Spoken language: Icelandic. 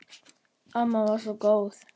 Amma var svo góð.